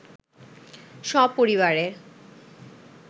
সপরিবারে